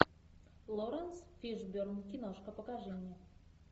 лоренс фишберн киношка покажи мне